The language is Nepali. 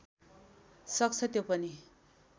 सक्छ त्यो पनि